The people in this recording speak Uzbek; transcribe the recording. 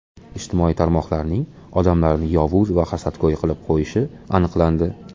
Ijtimoiy tarmoqlarning odamlarni yovuz va hasadgo‘y qilib qo‘yishi aniqlandi.